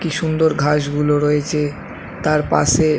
কি সুন্দর ঘাস গুলো রয়েছে। তার পাশে --